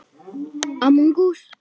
Nei vinan, segir hún.